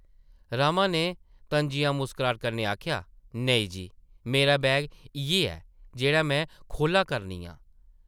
रमा नै तन्जिया मुस्कराह्ट कन्नै आखेआ, नेईं जी, मेरा बैग इʼयै ऐ ,जेह्ड़ा में खोह्ल्ला करनी आं ।